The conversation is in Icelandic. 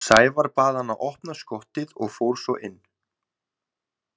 Sævar bað hann að opna skottið og fór svo inn.